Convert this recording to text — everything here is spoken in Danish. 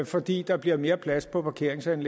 fordi der bliver mere plads på parkeringspladsen